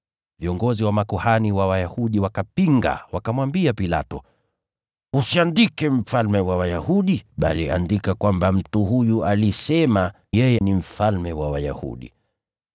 Viongozi wa makuhani wa Wayahudi wakapinga, wakamwambia Pilato, “Usiandike ‘Mfalme wa Wayahudi,’ bali andika kwamba mtu huyu alisema yeye ni mfalme wa Wayahudi.”